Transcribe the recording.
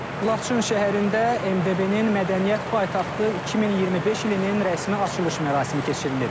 Laçın şəhərində MDB-nin mədəniyyət paytaxtı 2025-ci ilinin rəsmi açılış mərasimi keçirilib.